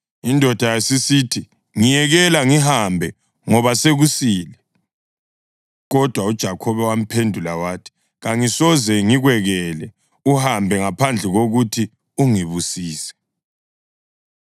Indoda yasisithi, “Ngiyekela ngihambe ngoba sokusile.” Kodwa uJakhobe wamphendula wathi, “Kangisoze ngikwekele uhambe ngaphandle kokuthi ungibusise.”